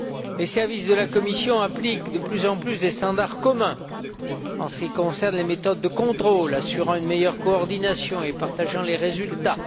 Les services de la Commission appliquent de plus en plus des standards communs en ce qui concerne les méthodes de contrôle assurant une meilleure coordination et partageant les résultats.